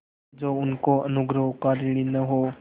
जो उसके अनुग्रहों का ऋणी न हो